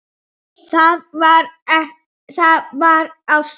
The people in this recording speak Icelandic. Það var ástin.